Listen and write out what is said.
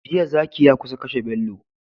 Jiya zaki ya kusa kashe bello